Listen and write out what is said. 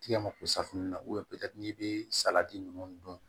Tigɛ mako safunɛ na n'i bɛ salati ninnu dun